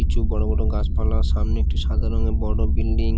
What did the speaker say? কিছু বড়ো বড়ো গাছপালা সামনে একটি সাদা রঙের বড়ো বিল্ডিং ।